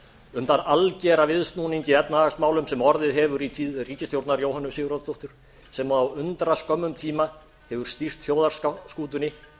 um þann algera viðsnúning í efnahagsmálum sem orðið hefur í tíð ríkisstjórnar jóhönnu sigurðardóttur sem á undraskömmum tíma hefur stýrt þjóðarskútunni